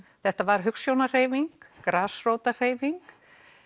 þetta var grasrótarhreyfing